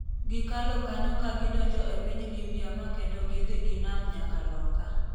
Gikalo kanyo ka gidonjo e piny Libya ma kendo gidhi gi nam nyaka loka